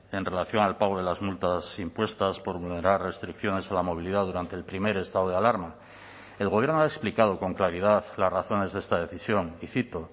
en relación al pago de las multas impuestas por vulnerar restricciones a la movilidad durante el primer estado de alarma el gobierno ha explicado con claridad las razones de esta decisión y cito